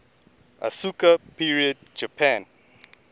asuka period japan